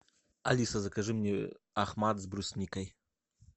алиса закажи мне ахмад с брусникой